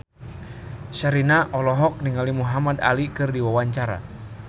Sherina olohok ningali Muhamad Ali keur diwawancara